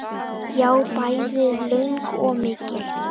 Já, bæði löng og mikil.